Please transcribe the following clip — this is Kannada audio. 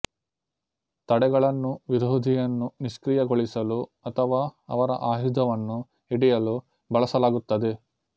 ತಡೆಗಳನ್ನು ವಿರೋಧಿಯನ್ನು ನಿಷ್ಕ್ರಿಯಗೊಳಿಸಲು ಅಥವಾ ಅವರ ಆಯುಧವನ್ನು ಹಿಡಿಯಲು ಬಳಸಲಾಗುತ್ತದೆ